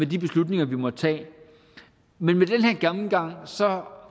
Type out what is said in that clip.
de beslutninger vi måtte tage men med den her gennemgang